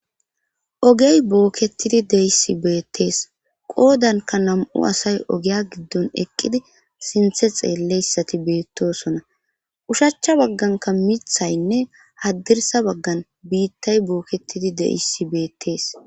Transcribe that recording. ogey bookketidi deissi beettees qoodanka nam7u asay ogiya giddon eqqidi sinthe xeelleyssati beettosona ushachcha bagganka mithaynne haddirsa baggan biittay booketidi deissi beettees